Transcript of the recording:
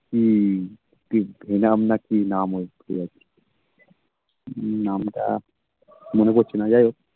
হম কি venom না কি নাম ওই ভুলে যাচ্ছি নামটা মনে পড়ছে না যাই হোক